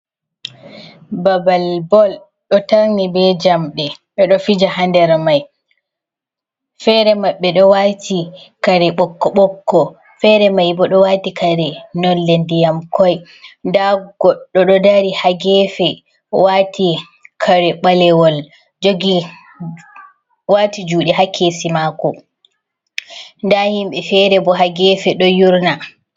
Babal bol ɗo tarni be jamɗe, ɓe ɗo fija ha nder mai fere maɓbe ɗo wati kare ɓokko ɓokko fere mai bo ɗo wati kare nolle ndiyam koi, nda goɗɗo ɗo dari ha gefe wati kare ɓalewol jogi wati juɗe ha kesi mako, nda himɓɓe fere bo ha gefe ɗo yurna.